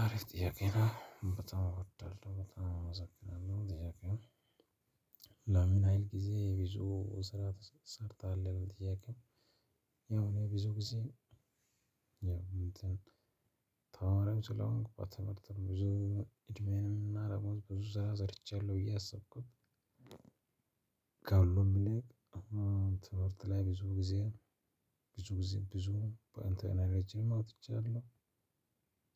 አሪፍ ጥያቄ ነው በጣም እወዳለሁ በጣም አመሰግናለሁ ጥያቄ ነው? ለምን ያህል ጊዜ ብዙ ስራ ሰርተሀል እሚል ጥያቄው ያው ብዙ ጊዜ። ያው እንትን ተማሪም ስለሆንኩ በትምህርት ብዙ እድሜኤን ብዙ ስራ ሰርቻለሁ ብዬ ያሰብኩት። ከ ሁሉም ይልቅ ትምህርት ላይ ብዙ ጊዜ ብዙ ጊዜ ብዙ በአንተ አውጥቻለሁ።